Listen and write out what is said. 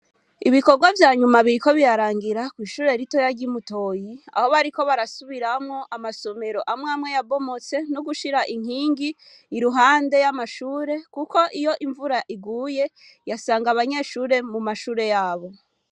ibikogwa vyanyuma biriko birarangira kw'ishure ritoya ryimutoyi aho bariko barasubiramwo amasomero amwamye yabomotse nugushira inkingi iruhande yamashure kuko iyo imvura iguye yasanga abanyeshure mumashure yabo